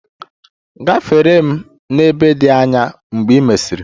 Gafere m n'ebe dị anya mgbe ị mesiri!